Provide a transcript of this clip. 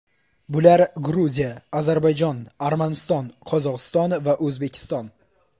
Bular Gruziya, Ozarbayjon, Armaniston, Qozog‘iston va O‘zbekiston.